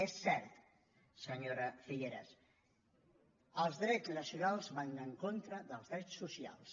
és cert senyora figueras els drets nacionals van en contra dels drets socials